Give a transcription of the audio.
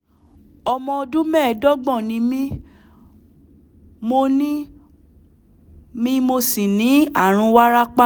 ọmọ ọdún mẹ́ẹ̀ẹ́dọ́gbọ̀n ni mí mo ni mí mo sì ní ààrùn wárápá